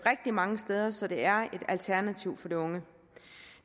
mange steder så det er et alternativ for de unge